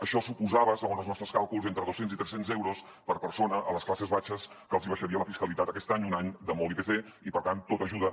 això suposava segons els nostres càlculs entre dos cents i tres cents euros per persona a les classes baixes que els hi baixaria la fiscalitat aquest any un any de molt ipc i per tant tot ajuda